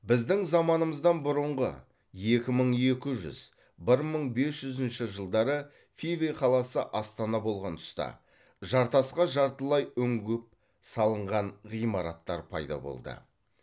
біздің заманымыздан бұрынғы екі мың екі жүз бір мың бес жүзінші жылдары фивы қаласы астана болған тұста жартасқа жартылай үңгіп салынған ғимараттар пайда болды